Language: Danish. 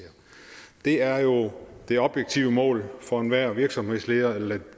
det er jo det objektive mål for enhver virksomhedsleder eller